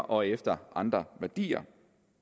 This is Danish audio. og efter andre værdier